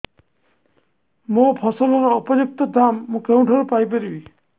ମୋ ଫସଲର ଉପଯୁକ୍ତ ଦାମ୍ ମୁଁ କେଉଁଠାରୁ ପାଇ ପାରିବି